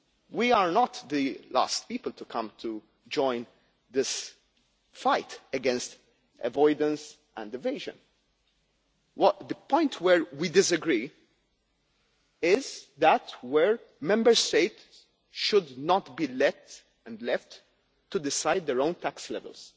We are not the last people to come to join this fight against avoidance and evasion. The point where we disagree is where Member States should not be let and left to decide their own tax levels.